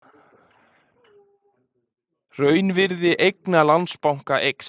Raunvirði eigna Landsbanka eykst